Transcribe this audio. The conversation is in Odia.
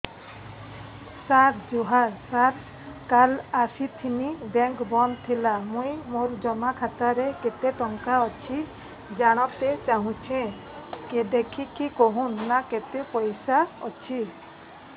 ସାର ଜୁହାର ସାର କାଲ ଆସିଥିନି ବେଙ୍କ ବନ୍ଦ ଥିଲା ମୁଇଁ ମୋର ଜମା ଖାତାରେ କେତେ ଟଙ୍କା ଅଛି ଜାଣତେ ଚାହୁଁଛେ ଦେଖିକି କହୁନ ନା କେତ ପଇସା ଅଛି